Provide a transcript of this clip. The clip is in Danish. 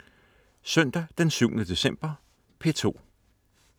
Søndag den 7. december - P2: